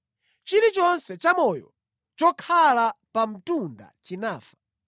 Chilichonse chamoyo, chokhala pa mtunda chinafa.